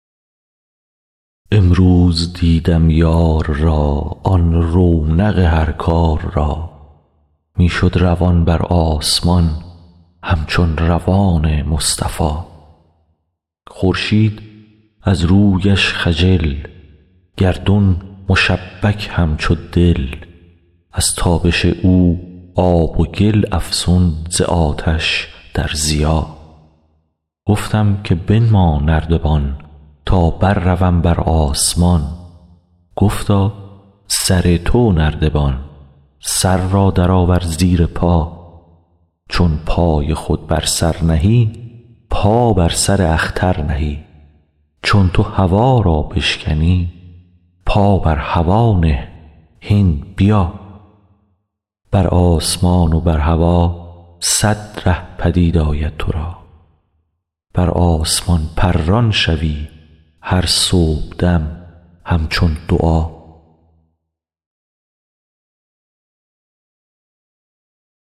امروز دیدم یار را آن رونق هر کار را می شد روان بر آسمان همچون روان مصطفا خورشید از رویش خجل گردون مشبک همچو دل از تابش او آب و گل افزون ز آتش در ضیا گفتم که بنما نردبان تا برروم بر آسمان گفتا سر تو نردبان سر را درآور زیر پا چون پای خود بر سر نهی پا بر سر اختر نهی چون تو هوا را بشکنی پا بر هوا نه هین بیا بر آسمان و بر هوا صد ره پدید آید تو را بر آسمان پران شوی هر صبحدم همچون دعا